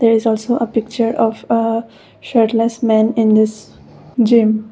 there is also a picture of a shirtless man in this gym.